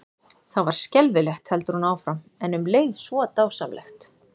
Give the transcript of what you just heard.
Það var skelfilegt, heldur hún áfram, en um leið svo dásamlegt.